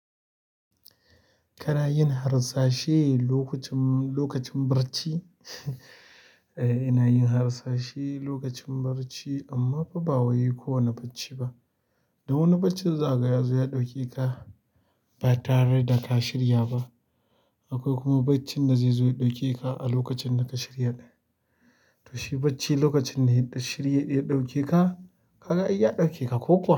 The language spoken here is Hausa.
Kana yin harsashe lokacin, lokacin barci. E, ina yin harsashe lokacin barci amma ba ba wai kowane bacci ba. Dan wani bacci za kaga yazo ya ɗauke ka ba tare da ka shirya ba. Akwai kuma baccin da zai zo ya ɗauke ka a lokacin da ka shirya ɗin. To shi bacci lokacin ne da shirye ya ɗauke ka, ka ga ai ya ɗauke ka ko kuwa.